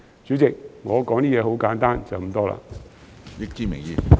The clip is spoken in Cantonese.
主席，我的發言很簡單，就是這麼多。